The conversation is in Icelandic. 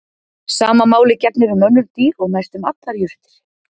Sama máli gegnir um önnur dýr og næstum allar jurtir.